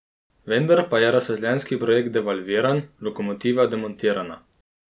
Vendar pa je razsvetljenski projekt devalviran, lokomotiva demontirana.